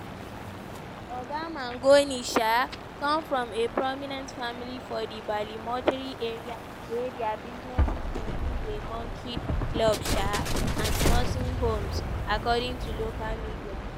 oga mangione um come from a prominent family for di baltimore area wey dia businesses include a country club um and nursing homes according to local media.